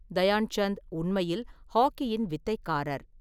தயான் சந்த் உண்மையில் ஹாக்கியின் வித்தைக்காரர்.